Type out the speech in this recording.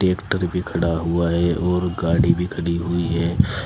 Tractor भी खड़ा हुआ है और गाड़ी भी खड़ी हुई है।